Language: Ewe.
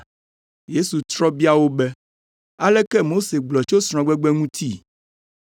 Yesu trɔ bia wo be, “Aleke Mose gblɔ tso srɔ̃gbegbe ŋuti?”